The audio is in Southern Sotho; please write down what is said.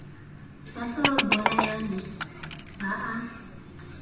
ba sa bolayane ba a